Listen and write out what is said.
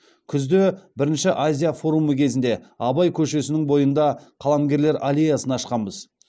күзде бірінші азия форумы кезінде абай көшесінің бойында қаламгерлер аллеясын ашқанбыз